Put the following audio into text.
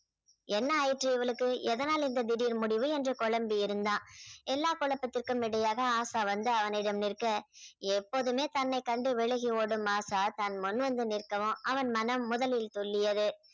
என்ன ஆயிற்று இவளுக்கு எதனால் இந்த திடீர் முடிவு என்று குழம்பி இருந்தான் எல்லா குழப்பத்திற்கும் இடையாக ஆசா வந்து அவனிடம் நிற்க எப்போதுமே தன்னை கண்டு விலகி ஓடும் ஆஷா தான் முன் வந்து நிற்கவும் அவன் மனம் முதலில் துள்ளியது